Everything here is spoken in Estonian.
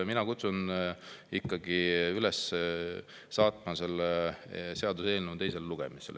Mina kutsun üles saatma see seaduseelnõu teisele lugemisele.